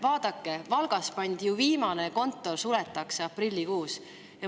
Vaadake, Valgas pannakse ju viimane kontor kinni, see suletakse aprillikuus.